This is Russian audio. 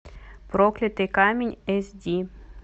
проклятый камень эс ди